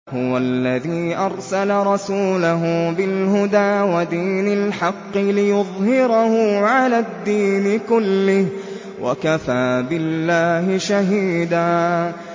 هُوَ الَّذِي أَرْسَلَ رَسُولَهُ بِالْهُدَىٰ وَدِينِ الْحَقِّ لِيُظْهِرَهُ عَلَى الدِّينِ كُلِّهِ ۚ وَكَفَىٰ بِاللَّهِ شَهِيدًا